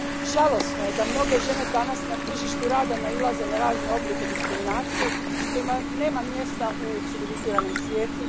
Žalosno je da mnoge žene danas na tržištu rada nailaze na razne oblike diskriminacije, kojima nema mjesta u civiliziranom svijetu.